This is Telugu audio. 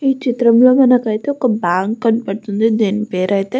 ఈ చిత్రం లో మనకి అయితే ఒక బ్యాంక్ కనపడుతుంది దీని పేరైతే --